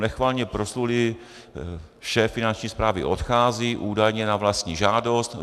Nechvalně proslulý šéf Finanční správy odchází, údajně na vlastní žádost.